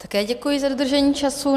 Také děkuji za dodržení času.